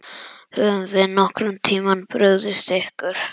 Höfum við nokkurn tímann brugðist ykkur?